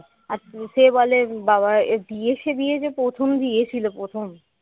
আর সে বলে বাবা এ দিয়েছে দিয়েছে প্রথম দিয়েছিল প্রথম